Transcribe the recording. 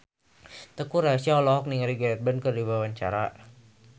Teuku Rassya olohok ningali Gareth Bale keur diwawancara